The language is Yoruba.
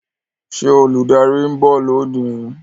Ṣé olùdarí ń bọ̀ lónìí?